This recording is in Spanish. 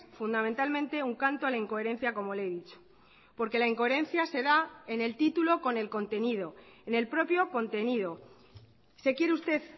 fundamentalmente un canto a la incoherencia como le he dicho porque la incoherencia se da en el título con el contenido en el propio contenido se quiere usted